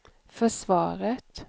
försvaret